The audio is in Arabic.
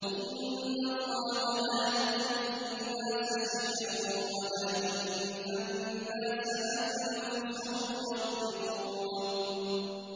إِنَّ اللَّهَ لَا يَظْلِمُ النَّاسَ شَيْئًا وَلَٰكِنَّ النَّاسَ أَنفُسَهُمْ يَظْلِمُونَ